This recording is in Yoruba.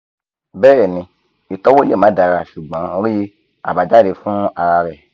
bẹẹni itọwo le ma dara ṣugbọn rii abajade fun ara rẹ